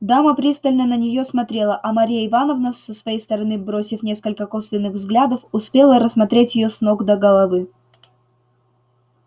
дама пристально на неё смотрела а марья ивановна со своей стороны бросив несколько косвенных взглядов успела рассмотреть её с ног до головы